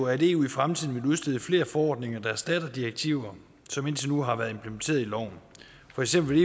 at eu i fremtiden vil udstede flere forordninger der erstatter direktiver som indtil nu har været implementeret i loven for eksempel